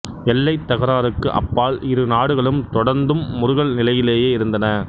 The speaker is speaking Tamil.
எல்லைத் தகராறுக்கு அப்பால் இரு நாடுகளும் தொடர்ந்தும் முறுகல் நிலையிலேயே இருந்தன